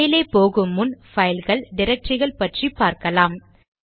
மேலே போகு முன் பைல்கள் டிரக்டரிகள் பற்றி பார்க்கலாம்